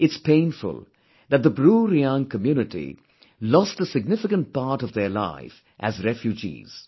It's painful that the BruReang community lost a significant part of their life as refugees